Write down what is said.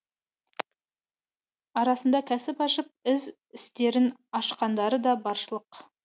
арасында кәсіп ашып із істерін ашқандары да баршылық